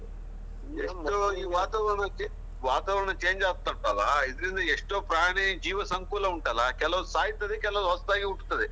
ಎಷ್ಟು ಈ ವಾತಾವರಣ, ವಾತಾವರಣ change ಆಗ್ತಾ ಉಂಟಲ್ಲ ಇದರಿಂದ ಎಷ್ಟೋ ಪ್ರಾಣಿ ಜೀವ ಸಂಕುಲ ಉಂಟಲ್ಲಾ ಕೆಲವು ಸಾಯ್ತದೆ ಕೆಲವು ಹೊಸತಾಗಿ ಹುಟ್ಟುತ್ತದೆ.